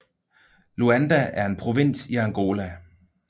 Luanda er en provins i Angola